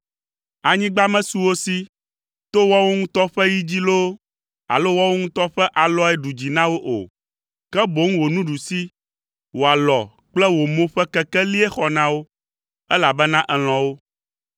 Anyigba mesu wo si to woawo ŋutɔ ƒe yi dzi loo, alo woawo ŋutɔ ƒe alɔe ɖu dzi na wo o, ke boŋ wò nuɖusi, wò alɔ kple wò mo ƒe kekelie xɔ na wo, elabena èlɔ̃ wo.